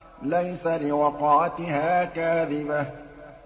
لَيْسَ لِوَقْعَتِهَا كَاذِبَةٌ